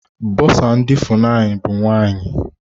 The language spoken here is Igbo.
Bọsa ndị FUNAI bụ nwaanyị.